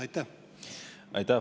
Aitäh!